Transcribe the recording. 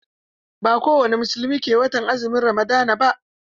Ba kowani musulmi ke azumin watan Ramadan ba.